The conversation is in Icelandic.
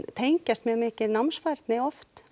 tengjast mjög mikið námsfærni oft á